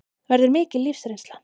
Verður mikil lífsreynsla